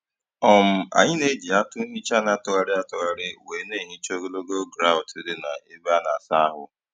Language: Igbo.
um Anyị na-eji atụ nhicha na - atụgharị atụgharị wee na - ehicha ogologo grọut dị na-ebe ana asa ahụ.